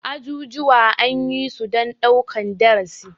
Ajujuwa anyisu dan ɗaukan darasi.